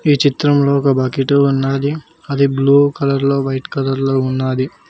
ఈ చిత్రంలో ఒక బకెటు ఉన్నాది అది బ్లూ కలర్ లో వైట్ కలర్ లో ఉన్నాది.